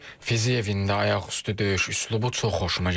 Fiziyevin də ayaqüstü döyüş üslubu çox xoşuma gəlir.